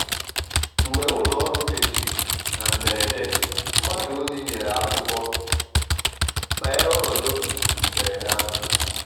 mgbe ulo oru mechiri na mberede mgbasa ozi nyere akụkọ banyere ọnọdụ um mberede ahụ